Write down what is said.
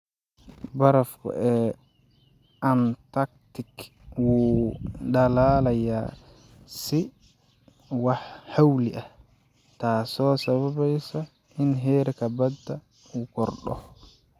Barafku ee Antarctic wuu dhalaalayaa si xawli ah, taasoo sababaysa in heerka badda uu kordho.